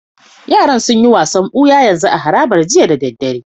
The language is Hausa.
Yaran sun yi wasan buya yanzu a harabar jiya dare.